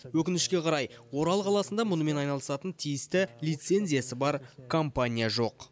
өкінішке қарай орал қаласында мұнымен айналысатын тиісті лицензиясы бар компания жоқ